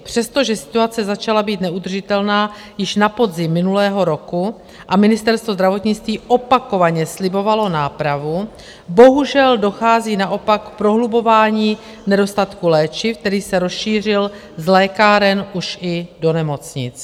Přestože situace začala být neudržitelná již na podzim minulého roku a Ministerstvo zdravotnictví opakovaně slibovalo nápravu, bohužel dochází naopak k prohlubování nedostatku léčiv, který se rozšířil z lékáren už i do nemocnic.